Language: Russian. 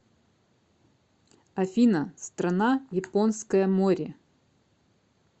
афина страна японское море